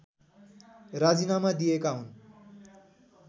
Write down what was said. राजीनामा दिएका हुन्